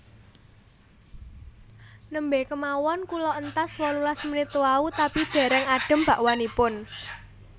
Nembe kemawon kula entas wolulas menit wau tapi dereng adem bakwanipun